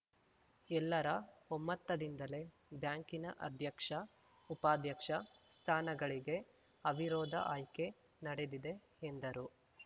ಎಲ್ಲರ ಒಮ್ಮತದಿಂದಲೇ ಬ್ಯಾಂಕಿನ ಅಧ್ಯಕ್ಷ ಉಪಾಧ್ಯಕ್ಷ ಸ್ಥಾನಗಳಿಗೆ ಅವಿರೋಧ ಆಯ್ಕೆ ನಡೆದಿದೆ ಎಂದರು